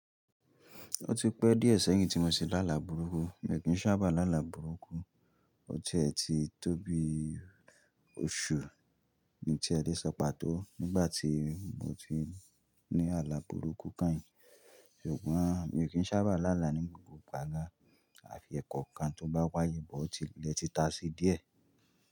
Ó ti pẹ́ díẹ̀ sẹ́yìn tí mo ti ṣe láàlà burúkú. Mi ò kí ń sábà láàlà burúkú. O tiẹ́ ti tóbi oṣù mí a lè sọ pàtó nígbà tí mo ti ní àlà burúkú keyìn. Ṣùgbọ́n mi ò kí ń sábà làlà ní gbà min ẹ̀kọkan tó bá wáyé bọ́ ti ilẹ̀ ti tà sí díẹ̀.